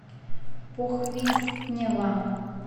похвистнево